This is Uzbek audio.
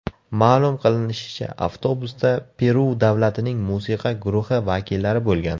Ma’lum qilinishicha, avtobusda Peru davlatining musiqa guruhi vakillari bo‘lgan.